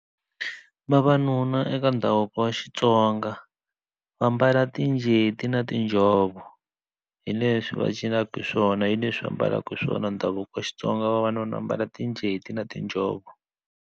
Vavanuna eka ndhavuko wa Xitsonga va mbala tinjeti na tinjhovo hi leswi va cinaka hi swona hi leswi ambalaka swona ndhavuko wa Xitsonga vavanuna ambala tinjeti na tinjhovo.